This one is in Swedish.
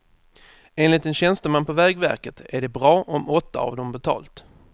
Enligt en tjänsteman på vägverket är det bra om åtta av dem betalt.